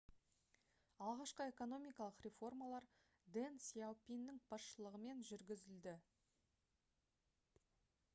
алғашқы экономикалық реформалар дэн сяопиннің басшылығымен жүргізілді